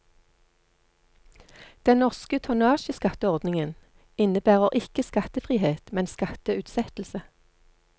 Den norske tonnasjeskatteordningen innebærer ikke skattefrihet, men skatteutsettelse.